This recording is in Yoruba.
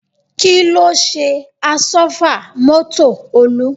Kí ló ṣe àsọ́fà mọ́tò Olú?